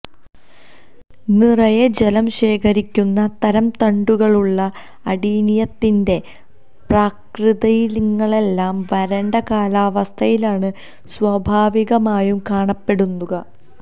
നിറയെ ജലം ശേഖരിക്കുന്ന തരം തണ്ടുകളുള്ള അഡീനിയത്തിൻെറ പ്രാകൃതയിനങ്ങളെല്ലാം വരണ്ട കാലാവസ്ഥയിലാണ് സ്വാഭാവികമായും കാണപ്പെടുക